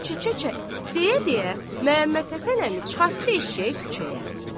Kə-kə-kə, deyə-deyə Məmmədhəsən əmi çıxartdı eşşəyi küçəyə.